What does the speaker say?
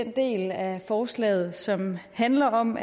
den del af forslaget som handler om